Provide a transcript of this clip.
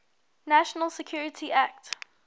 national security act